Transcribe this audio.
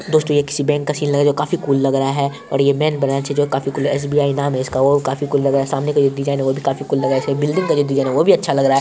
दोस्तो ये किसी बैंक का सीन लग रहा है जो काफी कुल लग रहा है और ये मेन ब्रांच है जो काफी कूल है एस_बी_आई नाम है इसका वो भी काफी कूल लग रहा है सामने का जो डिज़ाइन है वो भी काफी कूल लग रहा है बिल्डिंग का जो डिज़ाइन है वो भी अच्छा लग रहा है।